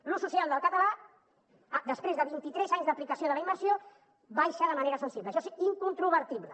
l’ús social del català després de vint i tres anys d’aplicació de la immersió baixa de manera sensible això és incontrovertible